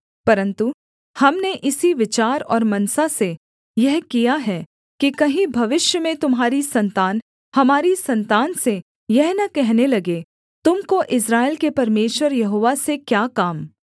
परन्तु हमने इसी विचार और मनसा से यह किया है कि कहीं भविष्य में तुम्हारी सन्तान हमारी सन्तान से यह न कहने लगे तुम को इस्राएल के परमेश्वर यहोवा से क्या काम